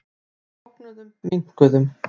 Við bognuðum, minnkuðum.